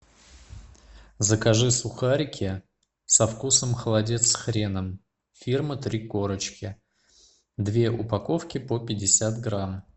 закажи сухарики со вкусом холодец с хреном фирма три корочки две упаковки по пятьдесят грамм